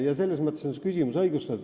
Selles mõttes on su küsimus õigustatud.